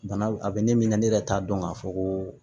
Bana a bɛ ne min ka ne yɛrɛ t'a dɔn k'a fɔ ko